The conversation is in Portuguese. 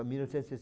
mil novecentos e